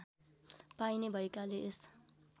पाइने भएकाले यस